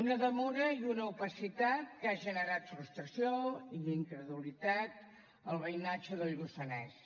una demora i una opacitat que ha generat frustració i incredulitat al veïnatge del lluçanès